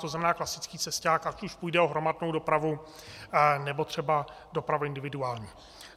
To znamená klasický cesťák, ať už půjde o hromadnou dopravu, nebo třeba dopravu individuální.